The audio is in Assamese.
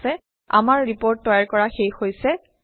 ঠিক আছে আমাৰ ৰিপৰ্ট তৈয়াৰ কৰা শেষ হৈছে